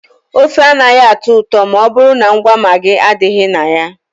Ofe anaghị atọ ụtọ ma ọ bụrụ na ngwa Maagị adịghị na ya.